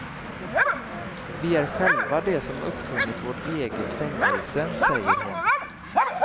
Vi är själva de som uppfunnit vårt eget fängelse, säger hon.